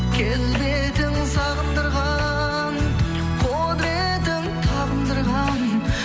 келбетің сағындырған құдыретің табындырған